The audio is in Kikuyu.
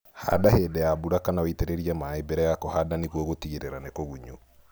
Handa hĩndĩ ya mbura kana ũitĩrĩrie maĩĩ mbere ya kũhanda nĩguo gũtigĩrĩra nĩ kũgunyu